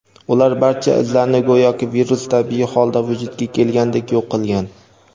ular barcha izlarni go‘yoki virus tabiiy holda vujudga kelgandek yo‘q qilgan.